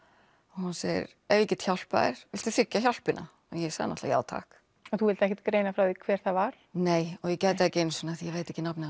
hún segir ef ég get hjálpað þér viltu þiggja hjálpina og ég sagði náttúrulega já takk en þú vilt ekkert greina frá því hver það var nei og ég gæti það ekki einu sinni því ég veit ekki nafnið á